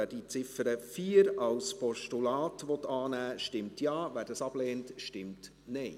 Wer die Ziffer 4 als Postulat annehmen will, stimmt Ja, wer dies ablehnt, stimmt Nein.